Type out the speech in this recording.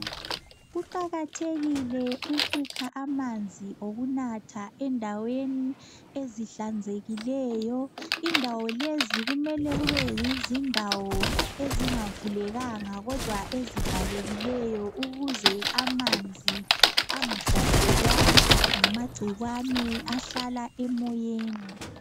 Kuqakathekile ukukha amanzi endaweni ezihlanzekileyo indawo lezi kumele kube zindawo ezingavulekanga ezivalekileyo ukuze amanzi angahlaselwa ngamagcikwane ahlala emoyeni.